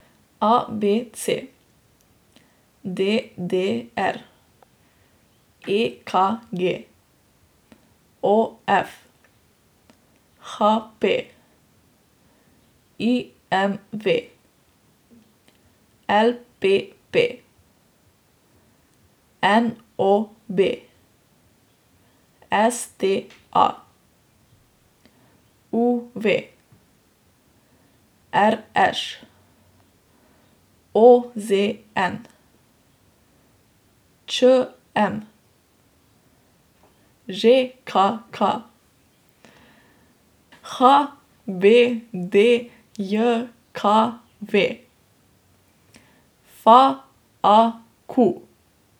A B C; D D R; E K G; O F; H P; I M V; L P P; N O B; S T A; U V; R Š; O Z N; Č M; Ž K K; H B D J K V; F A Q.